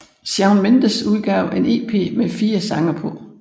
Shawn Mendes udgav en EP med 4 sange på